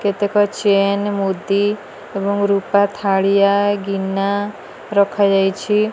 କେତେକ ଚେନ୍ ମୁଦି ଏବଂ ରୂପା ଥାଳିଆ ଗିନା ରଖା ଯାଇଛି।